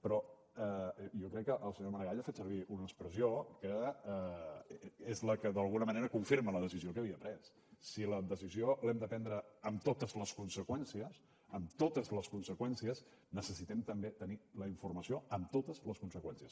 però jo crec que el senyor maragall ha fet servir una expressió que és la que d’alguna manera confirma la decisió que havia pres si la decisió l’hem de prendre amb totes les conseqüències amb totes les conseqüències necessitem també tenir la informació amb totes les conseqüències